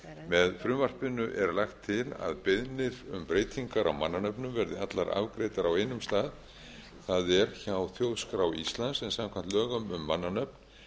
með frumvarpinu er lagt til að beiðnir um breytingar á mannanöfnum verði allar afgreiddar á einum stað það er hjá þjóðskrá íslands en samkvæmt lögum um mannanöfn